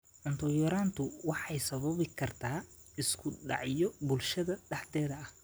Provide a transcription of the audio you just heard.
Cunto yaraantu waxay sababi kartaa isku dhacyo bulshada dhexdeeda ah.